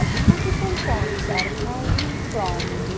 A beautiful pots are hanging from the --